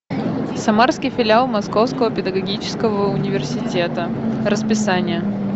самарский филиал московского педагогического университета расписание